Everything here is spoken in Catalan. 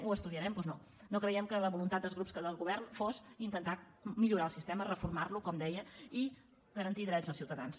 ho estudiarem doncs no no creiem que la voluntat dels grups del govern fos intentar millorar el sistema reformar lo com deia i garantir drets als ciutadans